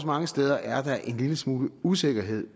mange steder er en lille smule usikkerhed